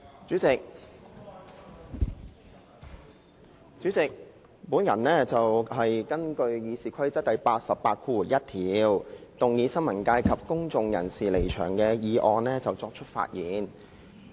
主席，我就根據《議事規則》第881條動議的"新聞界及公眾人士離場"的議案發言。